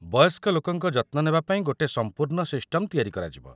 ବୟସ୍କ ଲୋକଙ୍କ ଯତ୍ନ ନେବା ପାଇଁ ଗୋଟେ ସମ୍ପୂର୍ଣ୍ଣ ସିଷ୍ଟମ୍‌ ତିଆରି କରାଯିବ ।